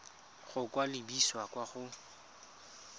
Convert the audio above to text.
go ka lebisa kwa go